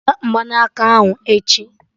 Wete Mgbanaka ahụ echi!